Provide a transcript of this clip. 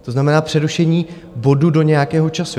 To znamená přerušení bodu do nějakého času.